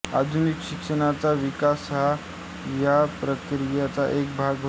आधुनिक शिक्षणाचा विकास हा या प्रक्रियेचा एक भाग होता